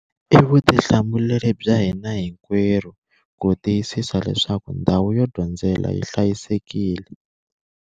I vutihlamuleri bya hina hikwerhu ku tiyisisa leswaku ndhawu yo dyondzela yi hlayisekile.